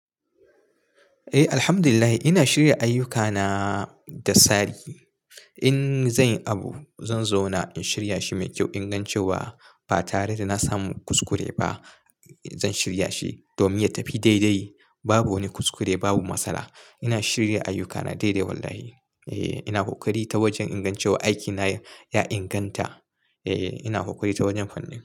Eh, Alhamdulillahi ina shirya ayyukana da sa'i. In zan yi abu, zan zauna in shirya shi mai kyau ingancewa. Ba tare da na samu kuskure ba zan shirya shi domin ya tafi daidai. Babu wani kuskure babu masala. Ina shirya ayyukana daidai wallahi. Eh, ina ƙoƙari ta wajen inga aikina ya inganta. Eh, ina ƙoƙari ta wajen fanin.